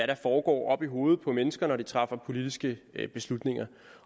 der foregår oppe i hovedet på mennesker når de træffer politiske beslutninger